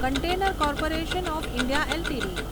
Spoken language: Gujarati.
container corporation of India LTD